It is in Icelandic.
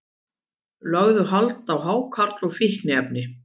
Lögðu hald á hákarl og fíkniefni